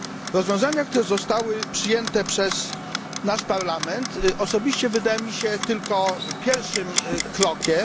Rozwiązania, które zostały przyjęte przez nasz Parlament osobiście wydają mi się tylko pierwszym krokiem.